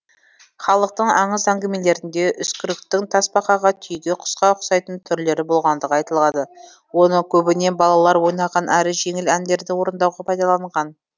халықтың аңыз әңгімелерінде үскіріктің тасбақаға түйеге құсқа ұқсайтын түрлері болғандығы айтылады оны көбіне балалар ойнаған әрі жеңіл әндерді орындауға пайдаланған